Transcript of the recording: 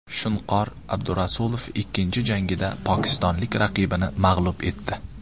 Shunqor Abdurasulov ikkinchi jangida pokistonlik raqibini mag‘lub etdi.